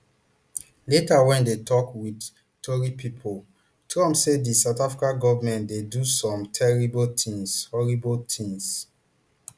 later wen e dey tok wit tori pipo trump say di south africa goment dey do some terrible tins horrible tins